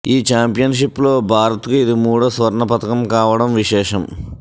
ఈ చాంపియన్షిప్లో భారత్కు ఇది మూడో స్వర్ణ పతకం కావడం విశేషం